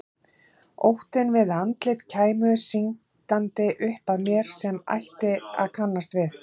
Óttinn við að andlit kæmu syndandi upp að mér sem ég ætti að kannast við.